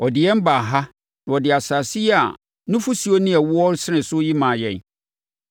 Ɔde yɛn baa ha na ɔde asase yi a nufosuo ne ɛwoɔ resene so yi maa yɛn.